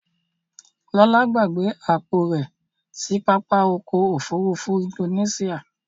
Lọ́ládé gbàgbé àpò rẹ̀ sí pápá ọkọ̀ òfurufú Indonesia.